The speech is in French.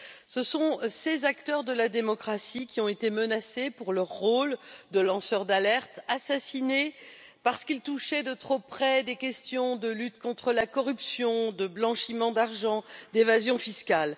Ce sont ces acteurs de la démocratie qui ont été menacés pour leur rôle de lanceurs d'alerte, assassinés parce qu'ils touchaient de trop près à des questions de lutte contre la corruption, de blanchiment d'argent, d'évasion fiscale.